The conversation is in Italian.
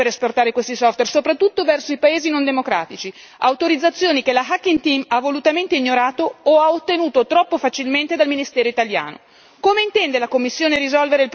per questo è necessaria un'autorizzazione per esportare questi software, soprattutto verso i paesi non democratici, autorizzazioni che la Hacking Team ha volutamente ignorato o ha ottenuto troppo facilmente dal ministero italiano.